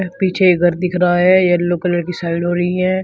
पीछे एक घर दिख रहा है येलो कलर की साइड हो रही है।